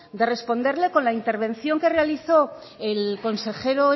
de responderle con la intervención que realizó el consejero